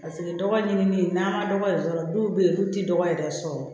Paseke dɔgɔ ɲini n'an ka dɔgɔ yɛrɛ sɔrɔ dɔw be yen olu ti dɔgɔ yɛrɛ sɔrɔ